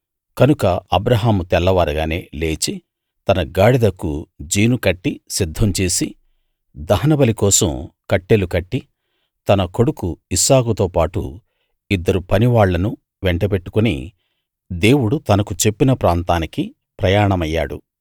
కనుక అబ్రాహాము తెల్లవారగానే లేచి తన గాడిదకు జీను కట్టి సిద్ధం చేసి దహనబలి కోసం కట్టెలు కొట్టి తన కొడుకు ఇస్సాకుతో పాటు ఇద్దరు పనివాళ్ళనూ వెంటబెట్టుకుని దేవుడు తనకు చెప్పిన ప్రాంతానికి ప్రయాణమయ్యాడు